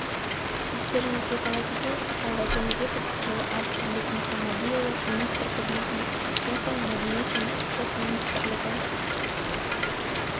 естеріңізге сала кетейік талғат жәнібеков жылы арыстанбек мұхамадиұлы министр қызметіне кіріскен соң мәдениет және спорт министрлігі